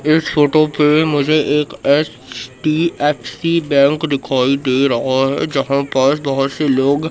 इस फोटो पे मुझे एक एच_डी_एफ_सी बैंक दिखाई दे रहा है जहां पर बहुत से लोग--